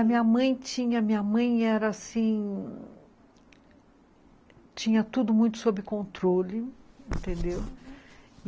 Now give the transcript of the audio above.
A minha mãe tinha minha mãe era assim, tinha tudo muito sob controle, entendeu? Uhum.